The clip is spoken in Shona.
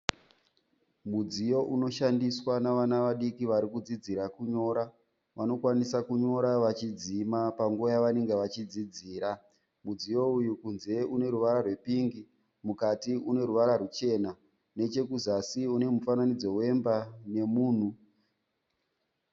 Mudziyo unoshandiswa navana vadiiki varikudzidzira kunyora. Vanokwanisa kunyora vachidzima panguva yavanenge vachidzidzira. Mudziyo uyu kunze uneruvara rwepingi mukati uneruvara rwuchena. Nechekuzasi unemufananidzo wemba nemunhu.